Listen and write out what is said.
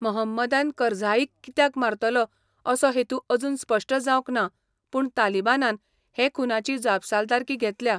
मोहम्मदान करझाईक कित्याक मारतलो असो हेतू अजून स्पश्ट जावंक ना, पूण तालिबानान हे खूनाची जापसालदारकी घेतल्या.